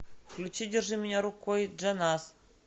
включи держи меня рукой джаназ